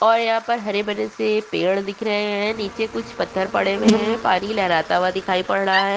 और यहाँ पर हरे भरे से पेड़ दिख रहे है नीचे कुछ पत्थर पड़े हुए है पानी लहरता हुआ दिखाई पड़ रहा है।